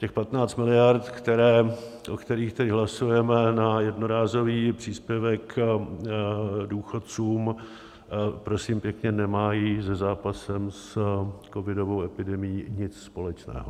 Těch 15 miliard, o kterých teď hlasujeme, na jednorázový příspěvek důchodcům, prosím pěkně, nemají se zápasem s covidovou epidemií nic společného.